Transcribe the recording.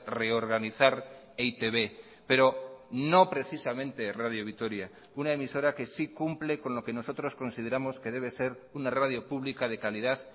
reorganizar e i te be pero no precisamente radio vitoria una emisora que sí cumple con lo que nosotros consideramos que debe ser una radio pública de calidad